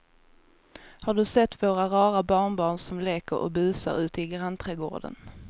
Har du sett våra rara barnbarn som leker och busar ute i grannträdgården!